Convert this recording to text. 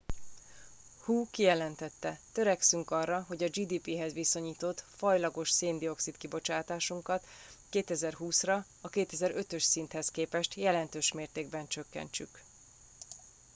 hu kijelentette törekszünk arra hogy a gdp hez viszonyított fajlagos széndioxid kibocsátásunkat 2020 ra a 2005 ös szinthez képest jelentős mértékben csökkentsük